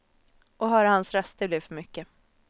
Att höra hans röst, det blev för mycket.